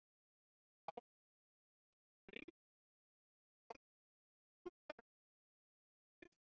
Á., Brynjólfur og Alfreð Andrésson sungu þær víðs vegar um landið.